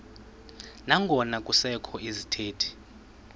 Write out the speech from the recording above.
nangona kusekho izithethi